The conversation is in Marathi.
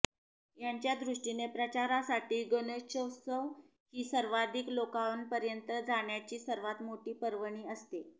त्यांच्यादृष्टिने प्रचारासाठी गणेशोत्सव ही सर्वाधिक लोकांपर्यंत जाण्याची सर्वात मोठी पर्वणी असते